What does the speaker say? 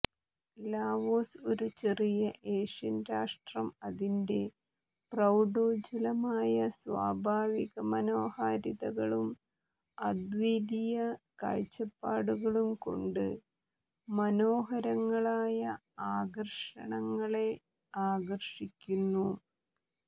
Laos ഒരു ചെറിയ Asian രാഷ്ട്രം അതിന്റെ പ്രൌഢോജ്ജ്വലമായ സ്വാഭാവിക മനോഹാരിതകളും അദ്വിതീയ കാഴ്ചപ്പാടുകളും കൊണ്ട് മനോഹരങ്ങളായ ആകർഷണങ്ങളെ ആകർഷിക്കുന്നു